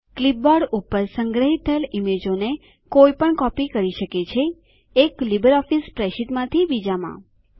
clipboard પર સંગ્રહીત થયેલ ઈમેજોને કોઈ પણ કોપી કરી શકે છે એક લીબરઓફીસ સ્પ્રેડશીટમાંથી બીજામાં